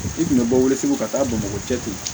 I tun bɛ bɔ weleg'u ka taa bamakɔ cɛ fɛ yen